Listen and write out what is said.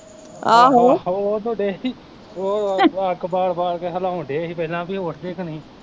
ਆਹ ਓਹ ਤੂੰ ਡਈ ਓਹ ਓਹ ਅਗ ਬਾਲ ਬਾਲ ਕੇ ਹਿਲਾਉਣ ਡਏ ਸੀ ਪਹਿਲਾਂ ਵੀ ਉਠਦੇ ਕਿ ਨਹੀਂ